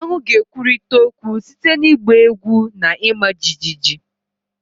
Aṅu ga-ekwurịta okwu site na ịgba egwu na ịma jijiji